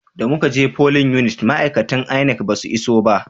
Da muka je folin unit ma'aikatan INEC ba su iso ba